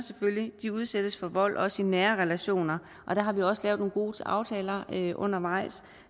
udsættes for vold også i nære relationer og der har vi også lavet nogle gode aftaler undervejs